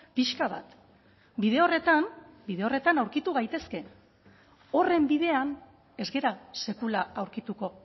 pixka bat bide horretan bide horretan aurkitu gaitezke horren bidean ez gara sekula aurkituko